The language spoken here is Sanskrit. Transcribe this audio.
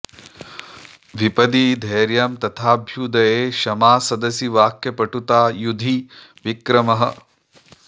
विपदि धैर्यं तथाभ्युदये क्षमा सदसि वाक्पटुता युधि विक्रमः